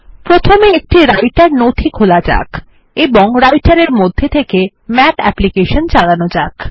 প্রথমে একটি রাইটের নথি খোলা যাক এবং Writer এর মধ্যে থেকে মাথ অ্যাপ্লিকেশন চালানো যাক